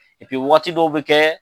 Epi wagati dɔw bɛ kɛ